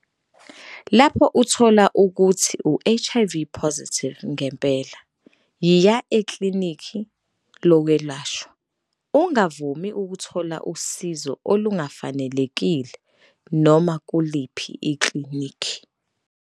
Lapho uthola ukuthi uHIVplus ngempela, yiya ekhliniki lokwelashwa. Ungavumi ukuthola usizo olungafanelekile noma kuliphi ikhliniki.